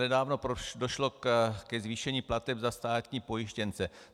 Nedávno došlo k zvýšení plateb za státní pojištěnce.